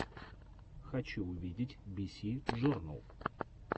хочу увидеть биси джорнал